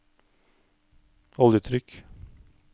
oljetrykk